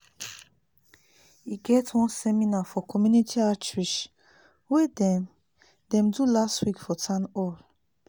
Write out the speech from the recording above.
e get one seminar for community outreach wey dem dem do last week for town hall